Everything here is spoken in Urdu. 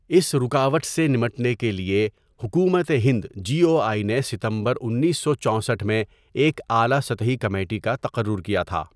اس رکاوٹ سے نمٹنے کے لیے، حکومت ہند جی او آئی نے ستمبر انیسو چوسٹھ میں ایک اعلیٰ سطحی کمیٹی کا تقرر کیا تھا.